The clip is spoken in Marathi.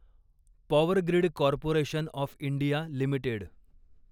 power grid corporation of India limited